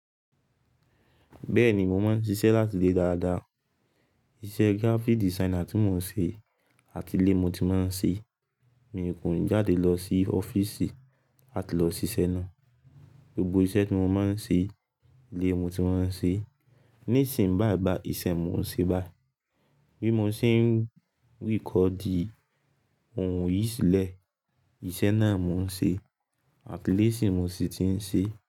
Bẹ́ẹ̀ ni, mo máa ń ṣiṣẹ́ láti ilé dáadáa. Iṣẹ́ graphic designer tí mò ń ṣe, àti ilé mo ti máa ń ṣe. Mi kò jáde lọ sí ọ́fíìsì láti lọ ṣiṣẹ́ náà. Gbogbo iṣẹ́ tí mo máa ń ṣe, ilé mo ti máa ń ṣe. Nísìnyí bàí bàí iṣẹ́ mo ń ṣe báyìí. Bí mo ṣe ń ríkọdi ohùn yìí sílẹ̀, iṣẹ́ náà mò ń ṣe àti ilé ṣi mo sì ti ń ṣe.